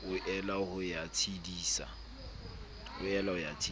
o ela ho ya tshedisa